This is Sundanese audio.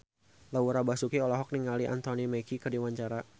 Laura Basuki olohok ningali Anthony Mackie keur diwawancara